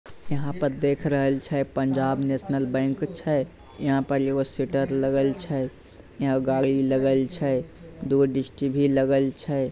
यहाँ पैर देख रहे छे पंजाब नेशनल बैंक छे यहाँ पर एगो सटर लगाई छे यहाँ गाड़ी लगाई छे दो गो डिसट भी लगाई छे।